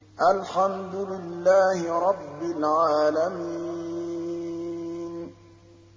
الْحَمْدُ لِلَّهِ رَبِّ الْعَالَمِينَ